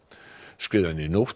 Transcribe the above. skriðan í nótt